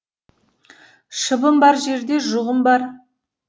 шыбын бар жерде жұғын бар